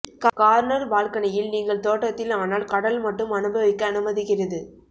corner பால்கனியில் நீங்கள் தோட்டத்தில் ஆனால் கடல் மட்டும் அனுபவிக்க அனுமதிக்கிறது